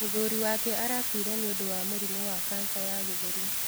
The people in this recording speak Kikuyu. Mũthuri wake arakuire nĩũndũ wa mũrimũ wa kanca ya gĩthũri.